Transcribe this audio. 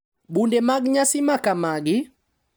Bunde mag nyasi makamagi,